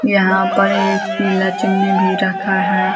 यहाँ पर एक पीला चुन्नी भी रखा है।